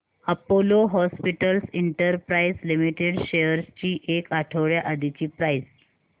Apollo hospitals enterprise limited shares ची एक आठवड्या आधीची प्राइस